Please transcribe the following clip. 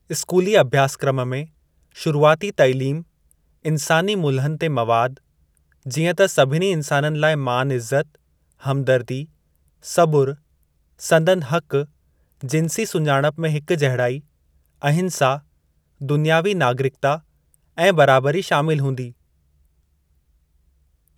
स्कूली अभ्यासक्रम में शुरूआती तैलीम, इंसानी मुल्हनि ते मवाद, जीअं त सभिनी इंसाननि लाइ मान इज़त, हमदर्दी, सबुरु, संदनि हक़, जिन्सी सुञाणप में हिक जहिड़ाई, अहिंसा, दुनियावी नागरिकता, ऐं बराबरी शामिल हूंदी।